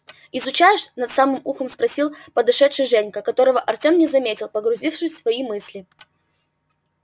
изучаешь над самым ухом спросил подошедший женька которого артём не заметил погрузившись в свои мысли